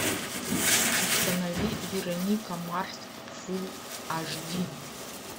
установи вероника марс фул аш ди